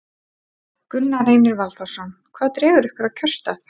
Gunnar Reynir Valþórsson: Hvað dregur ykkur að kjörstað?